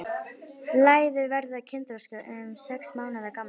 Læður verða kynþroska um sex mánaða gamlar.